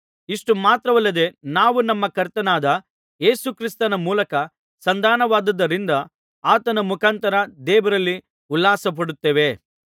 ಇಷ್ಟು ಮಾತ್ರವಲ್ಲದೆ ನಾವು ನಮ್ಮ ಕರ್ತನಾದ ಯೇಸು ಕ್ರಿಸ್ತನ ಮೂಲಕ ಸಂಧಾನವಾದದ್ದರಿಂದ ಆತನ ಮುಖಾಂತರ ದೇವರಲ್ಲಿ ಉಲ್ಲಾಸಪಡುತ್ತೇವೆ